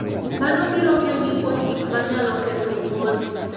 Mano biro geng'i kuom gik manyalo ketho wuodhi.